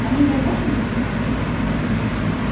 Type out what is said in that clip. они в рабочем состоянии